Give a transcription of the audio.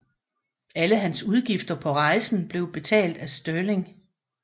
Alle hans udgifter på rejsen blev betalt af Stirling